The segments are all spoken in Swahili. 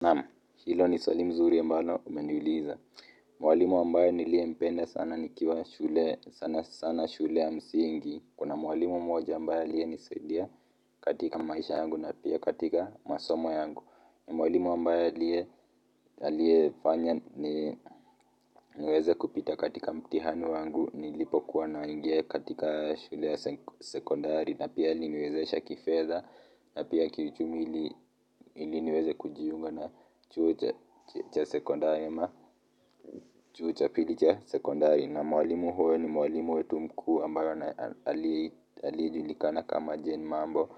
Naam, hilo ni swali mzuri ya ambalo umeniuliza. Mwalimu ambaye niliyempenda sana nikiwa shule, sana sana shule ya msingi. Kuna mwalimu mmoja ambaye aliyenisadia katika maisha yangu na pia katika masomo yangu. Mwalimu ambaye aliye fanya niweze kupita katika mtihani wangu. Nilipo kuwa naingia katika shule ya sekondari. Na pia aliniwezesha kifedha na pia kiuchumi ili niweze kujiunga na chuo cha sekondari chuo cha pili cha sekondari na mwalimu huyo ni mwalimu wetu mkuu ambaye aliye julikana kama Jane mambo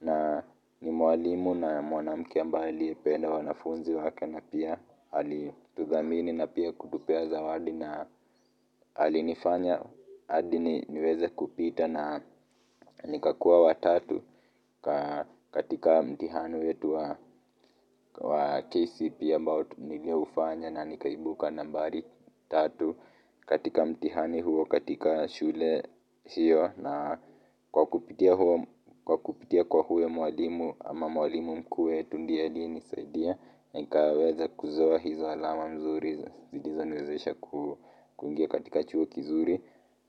na ni mwalimu na mwanamke ambaye aliye penda wanafunzi wake na pia ali tudhamini na pia kutupea zawadi na alinifanya hadi niweze kupita na nikakuwa wa tatu katika mtihani wetu wa KCPE ambao nilio ufanya na nikaibuka nambari tatu katika mtihani huo katika shule hiyo na kwa kupitia kwa kupitia kwa huyo mwalimu ama mwalimu mkuu wetu ndiye aliye nisaidia nikaweza kuzoa hizo alama mzuri zilizo niwezesha kuingia katika chuo kizuri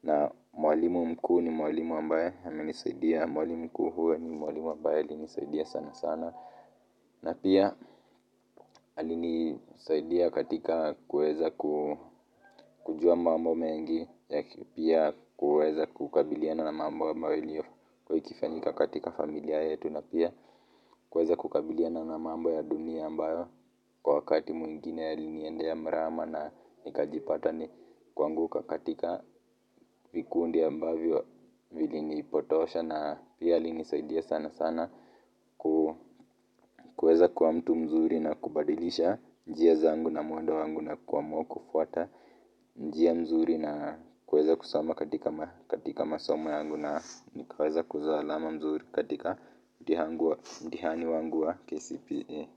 na mwalimu mkuu ni mwalimu ambaye ame nisaidia mwalimu mkuu huyo ni mwalimu ambaye alinisaidia sana sana na pia alinisaidia katika kuweza kujua mambo mengi pia kuweza kukabiliana na mambo ambayo iliyo kuwa ikifanyika katika familia yetu na pia kuweza kukabiliana na mambo ya dunia ambayo kwa wakati mwingine yaliniendea mrama na nikajipata ni kuanguka katika vikundi ambavyo vili nipotosha na pia alinisaidia sana sana kuweza kuwa mtu mzuri na kubadilisha njia zangu na mwendo wangu na kuamua kufuata njia mzuri na kuweza kusoma katika masomo yangu na nikaweza kuzoa alama mzuri katika mtihani wangu wa KCPE.